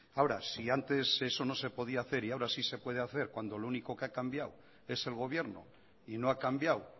ahora si antes eso no se podía hacer y ahora sí se puede hacer cuando lo único que ha cambiado es el gobierno y no ha cambiado